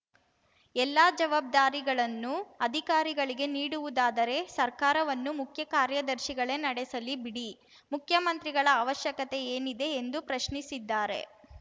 ಎಲ್ಲಾ ಜವಾಬ್ದಾರಿಗಳನ್ನೂ ಅಧಿಕಾರಿಗಳಿಗೆ ನೀಡುವುದಾದರೆ ಸರ್ಕಾರವನ್ನು ಮುಖ್ಯ ಕಾರ್ಯದರ್ಶಿಗಳೇ ನಡೆಸಲಿ ಬಿಡಿ ಮುಖ್ಯಮಂತ್ರಿಗಳ ಅವಶ್ಯಕತೆ ಏನಿದೆ ಎಂದು ಪ್ರಶ್ನಿಸಿದ್ದಾರೆ